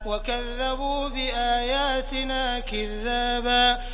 وَكَذَّبُوا بِآيَاتِنَا كِذَّابًا